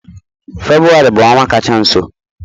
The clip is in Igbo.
Febụwarị bụ ọnwa kacha nso.